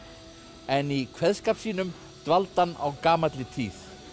en í kveðskap sínum dvaldi hann á gamalli tíð